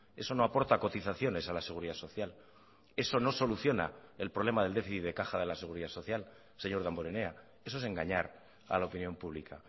eso no aporta cotizaciones a la seguridad social eso no soluciona el problema del déficit de caja de la seguridad social señor damborenea eso es engañar a la opinión pública